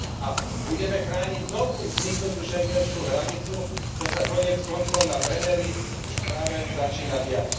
a budeme chrániť novú vzniknutú schengenskú hranicu to sa koniec koncov na Brenneri už práve začína diať.